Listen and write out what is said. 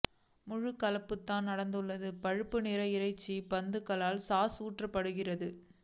முழு கலப்பு தான் நடந்துள்ளது பழுப்பு நிற இறைச்சி பந்துகளாக சாஸ் ஊற்றப்படுகிறது